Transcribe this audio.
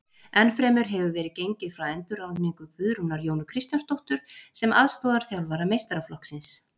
Ennfremur hefur verið gengið frá endurráðningu Guðrúnar Jónu Kristjánsdóttur sem aðstoðarþjálfara meistaraflokksins.